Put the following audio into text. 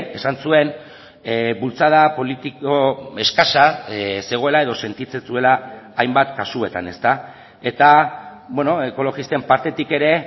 esan zuen bultzada politiko eskasa zegoela edo sentitzen zuela hainbat kasuetan eta ekologisten partetik ere